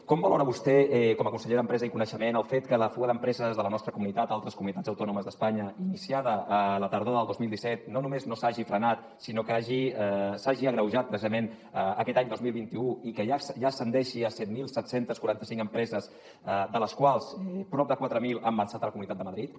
com valora vostè com a conseller d’empresa i coneixement el fet que la fuga d’empreses de la nostra comunitat a altres comunitats autònomes d’espanya iniciada la tardor del dos mil disset no només no s’hagi frenat sinó que s’hagi agreujat precisament aquest any dos mil vint u i que ja ascendeixi a set mil set cents i quaranta cinc empreses de les quals prop de quatre mil han marxat a la comunitat de madrid